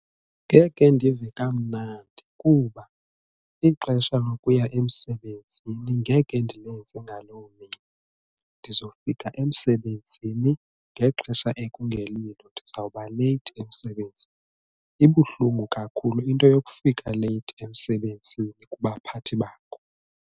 Ngeke ndive kamnandi kuba ixesha lokuya emsebenzini ngeke ndilenze ngaloo mini ndizofika emsebenzini ngexesha ekungelilo ndizawuba leyithi emsebenzini ibuhlungu kakhulu into yokufika leyithi emsebenzini kubaphathi bakho.